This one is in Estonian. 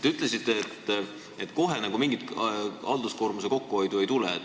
Te ütlesite, et kohe mingit halduskoormuse kokkuhoidu ei tule.